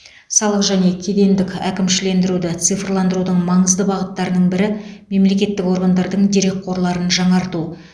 салық және кедендік әкімшілендіруді цифрландырудың маңызды бағыттарының бірі мемлекеттік органдардың дерекқорларын жаңарту